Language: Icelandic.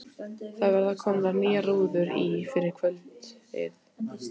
Það verða komnar nýjar rúður í fyrir kvöldið.